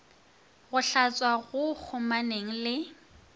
go hlatswa go kgomaneng le